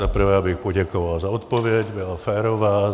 Za prvé abych poděkoval za odpověď, byla férová.